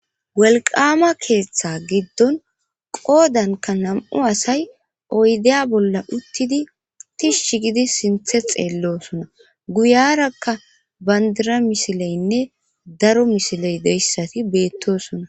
walqama keeththa giddon qoodanka nam7u asay oydeya bolla uttidi tishsh gidi sinthe xeellosona guyarakka bandira misileynne daro misiley deyssati beettosona